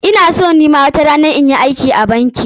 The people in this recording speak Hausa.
Ina son ni ma watarana na yi aiki a banki.